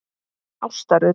Ásta Rut.